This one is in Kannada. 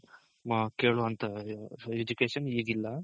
ಕೇಳೋವಂತ Education ಈಗಿಲ್ಲ.